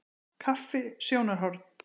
Kaffi- sjónarhorn.